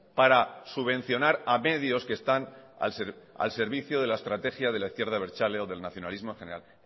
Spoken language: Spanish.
para subvencionar a medios que están al servicio de la estrategia de la izquierda abertzale o del nacionalismo en general